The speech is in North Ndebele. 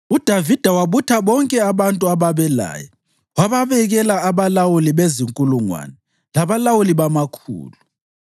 UDavida wabutha bonke abantu ababelaye wababekela abalawuli bezinkulungwane labalawuli bamakhulu.